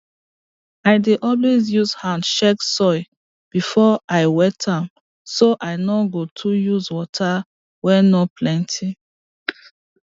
i dey always use hand check soil before i wet am so i no go too use water wey no plenty